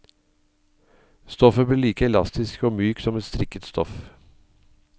Stoffet blir like elastisk og mykt som et strikket stoff.